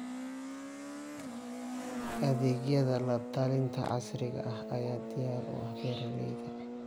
Adeegyada la-talinta casriga ah ayaa diyaar u ah beeralayda.